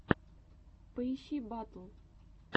поищи батл